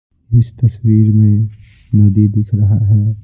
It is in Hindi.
इस तस्वीर में नदी दिख रहा है।